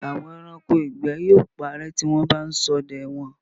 Àwọn ẹranko ìgbẹ́ yóò parẹ́ tí wọ́n bá ń ṣọdẹ wọn.